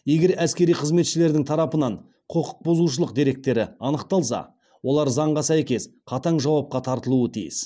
егер әскери қызметшілердің тарапынан құқықбұзушылық деректері анықталса олар заңға сәйкес қатаң жауапқа тартылуы тиіс